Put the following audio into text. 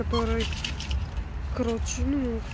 который короче ну к